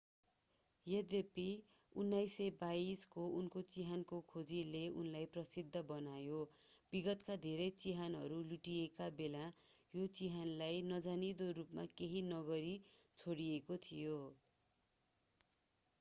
यद्यपि 1922 को उनको चिहानको खोजले उनलाई प्रसिद्ध बनायो विगतका धेरै चिहानहरू लुटिएका बेला यो चिहानलाई नजानिदो रूपमा केही नगरी छोडिएको थियो